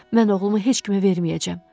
Mən oğlumu heç kimə verməyəcəm.